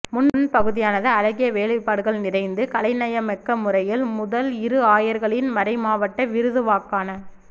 முன்பகுதியானது அழகிய வேலைப்பாடுகள் நிறைந்து கலைநயமிக்க முறையில் முதல் இரு ஆயர்களின் மறைமாவட்ட விருதுவாக்கான